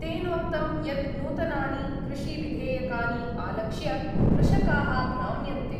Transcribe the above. तेनोक्तं यत् नूतनानि कृषिविधेयकानि आलक्ष्य कृषकाः भ्राम्यन्ते।